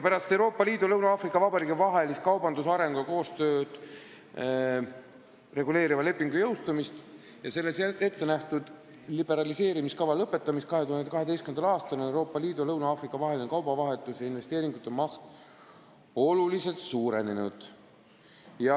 Pärast Euroopa Liidu ja Lõuna-Aafrika Vabariigi vahelise kaubandust, arengut ja koostööd reguleeriva lepingu jõustumist ning selles ettenähtud liberaliseerimiskava lõpetamist 2012. aastal on Euroopa Liidu ja Lõuna-Aafrika vaheline kaubavahetus ja vastastikuste investeeringute maht oluliselt suurenenud.